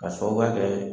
K'a sababuya kɛ